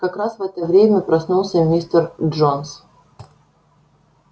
как раз в это время проснулся мистер джонс